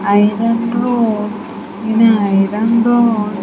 Iron rods in an iron rod.